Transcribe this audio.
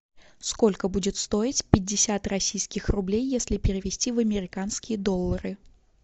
сколько будет стоить пятьдесят российских рублей если перевести в американские доллары